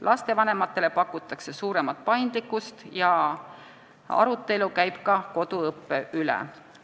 Lastevanematele pakutakse suuremat paindlikkust ja arutelu käib ka koduõppe üle.